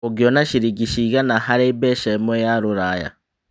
ũngĩona ciringi cĩgana harĩ mbeca ĩmwe ya rũraya